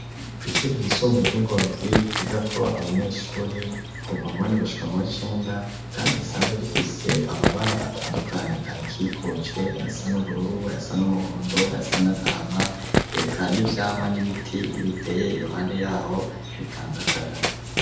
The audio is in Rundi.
Kw'ishure ry'isumbuye ry'ingozi ryigako abanyeshure kuva muwindwi gushika muw'icenda kandi risanzwe rifise amabara atandukanye arikokuje ayasa n'ubururu ayasa n'umuhondo ayas n'agahama, eka n'vyamwa n'ibiti biriteye iruhande yaho ritanga akayaga.